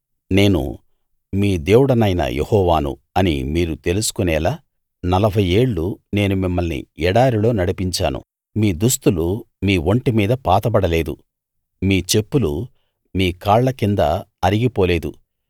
నేను మీ దేవుడనైన యెహోవాను అని మీరు తెలుసుకొనేలా 40 ఏళ్ళు నేను మిమ్మల్ని ఎడారిలో నడిపించాను మీ దుస్తులు మీ ఒంటి మీద పాతబడలేదు మీ చెప్పులు మీ కాళ్ల కింద అరిగిపోలేదు